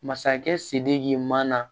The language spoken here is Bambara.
Masakɛ sidiki man na